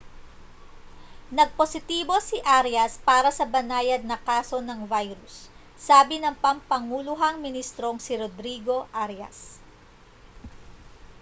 nagpositibo si arias para sa banayad na kaso ng virus sabi ng pampanguluhang ministrong si rodrigo arias